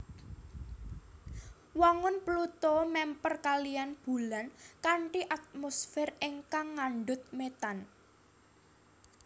Wangun Pluto mèmper kaliyan Bulan kanthi atmosfer ingkang ngandhut metan